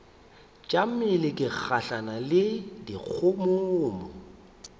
tšamile ke gahlana le dikgomommuu